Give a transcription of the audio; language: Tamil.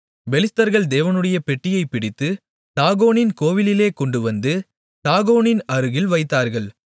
பெலிஸ்தர்கள் தேவனுடைய பெட்டியைப் பிடித்து தாகோனின் கோவிலிலே கொண்டுவந்து தாகோனின் அருகில் வைத்தார்கள்